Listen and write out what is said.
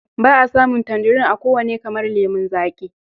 Ba a samun tanjirin a kowane kamar lemon zaƙi.